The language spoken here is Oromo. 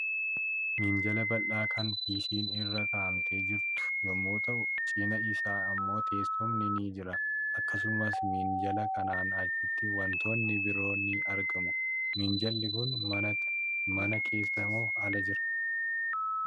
Minjaala bal'aa kan piisiin irra godhamtes jiru yommuu ta'u, cinaa isaa immoo teessumni ni jira. Akkasumas minjaala kanaan achitti wantoonni biroon ni argamu. Minjaalli Kun mana keessa moo ala jira?